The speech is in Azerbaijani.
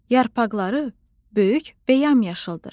Yarpaqları böyük və yamyaşıldır.